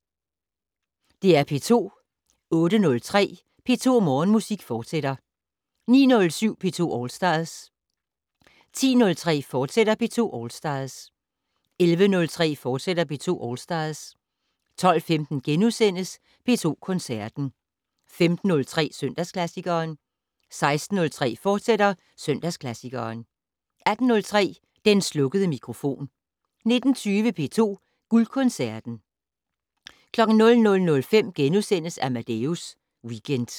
08:03: P2 Morgenmusik, fortsat 09:07: P2 All Stars 10:03: P2 All Stars, fortsat 11:03: P2 All Stars, fortsat 12:15: P2 Koncerten * 15:03: Søndagsklassikeren 16:03: Søndagsklassikeren, fortsat 18:03: Den slukkede mikrofon 19:20: P2 Guldkoncerten 00:05: Amadeus Weekend *